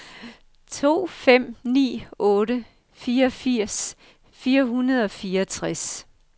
to fem ni otte fireogfirs fire hundrede og fireogtres